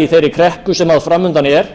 í þeirri kreppu sem fram undan er